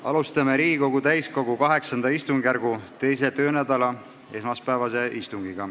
Alustame Riigikogu täiskogu VIII istungjärgu 2. töönädala esmaspäevast istungit.